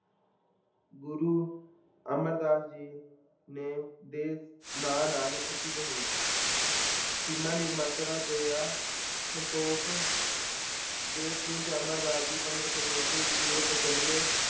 ਗੁਰੂ ਅਮਰਦਾਸ ਜੀ ਨੇ ਦੇ ਨਾਂ ਨਾਲ ਪ੍ਰਸਿੱਧ ਹੋਏ ਖਿਮਾ, ਨਿਮਰਤਾ, ਦਯਾ, ਸੰਤੋਖ ਦੇ ਪੁੰਜ ਅਮਰਦਾਸ ਜੀ ਪੰਦਰਾਂ ਸੌ ਚੋਹੱਤਰ ਈਸਵੀ ਤੋਂ ਪਚਾਨਵੇਂ